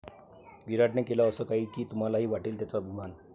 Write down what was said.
विराटने केलं असं काही की तुम्हालाही वाटेल त्याचा अभिमान!